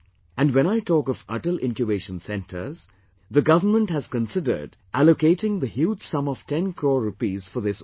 And when I talk of Atal Incubation Centres, the government has considered allocating the huge sum of 10 crore rupees for this also